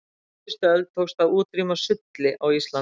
á síðustu öld tókst að útrýma sulli á íslandi